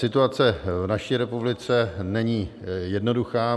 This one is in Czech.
Situace v naší republice není jednoduchá.